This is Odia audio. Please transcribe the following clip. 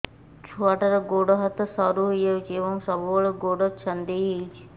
ଛୁଆଟାର ଗୋଡ଼ ହାତ ସରୁ ହୋଇଯାଇଛି ଏବଂ ସବୁବେଳେ ଗୋଡ଼ ଛଂଦେଇ ହେଉଛି